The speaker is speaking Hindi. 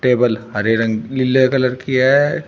टेबल हरे रंग नीले कलर की है।